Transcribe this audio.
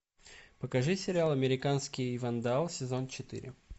покажи сериал американский вандал сезон четыре